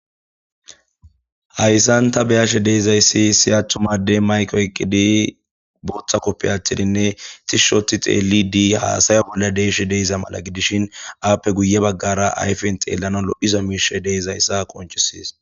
hayssan ta beyashe deezayssi si attumadey mayko eqqidi booththa koppe atidinne tishshoti xeeli dii haasaya bolla deeshe deeza mala gidishin aappe guye baggara ayfen xeellano lo7izo miishe deezayssa qonchisiis